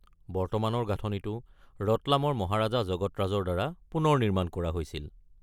বৰ্তমানৰ গাঁথনিটো ৰটলামৰ মহাৰজা জগত ৰাজৰ দ্বাৰা পুনৰ নিৰ্মাণ কৰা হৈছিল।